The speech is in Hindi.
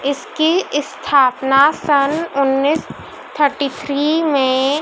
इसकी स्थापना सन् उन्नीस थर्टी थ्री में--